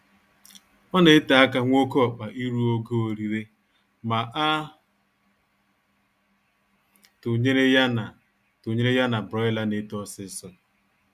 Ọ na ete aka nwa oké ọkpa iru ogo orire ma a tụnyere ya na tụnyere ya na Broiler na-eto ọsịịsọ